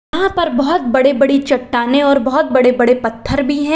यहां पर बहोत बड़ी बड़ी चट्टानें और बहोत बड़े बड़े पत्थर भी हैं।